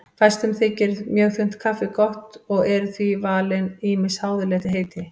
Fæstum þykir mjög þunnt kaffi gott og eru því valin ýmis háðuleg heiti.